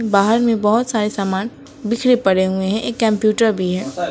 बाहर में बहोत सारे सामान बिखरे पड़े हुए हैं एक कंप्यूटर भी है।